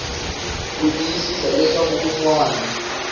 ku tiyisisa leswaku un wana